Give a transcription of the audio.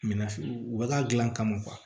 Minafi u bɛ ka gilan ka